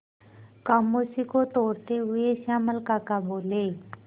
खामोशी को तोड़ते हुए श्यामल काका बोले